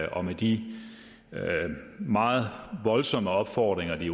og med de meget voldsomme opfordringer de